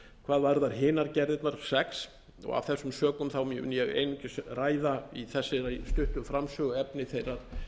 hvað varðar hinar gerðirnar sex og af þessum sökum mun ég einungis ræða í þessari stuttu framsögu efni þeirrar